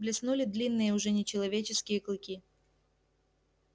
блеснули длинные уже нечеловеческие клыки